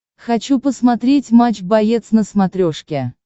хочу посмотреть матч боец на смотрешке